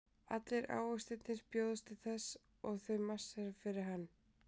Allir ávextirnir bjóðast til þess og þau marsera fyrir hann.